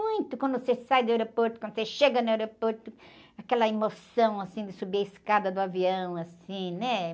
Muito, quando você sai do aeroporto, quando você chega no aeroporto, aquela emoção, assim, de subir a escada do avião, assim, né?